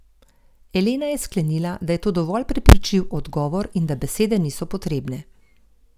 Elena je sklenila, da je to dovolj prepričljiv odgovor in da besede niso potrebne.